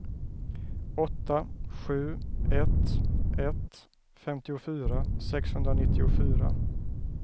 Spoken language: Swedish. åtta sju ett ett femtiofyra sexhundranittiofyra